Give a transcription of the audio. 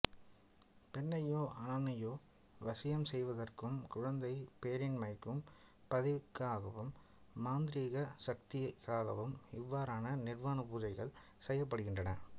பெண்ணையோ ஆணையோ வசியம் செய்வதற்கும் குழந்தை பேரின்மைக்கும் பதவிக்காகவும் மாந்திரீக சக்திகாகவும் இவ்வாறான நிர்வாண பூசைகள் செய்யப்படுகின்றன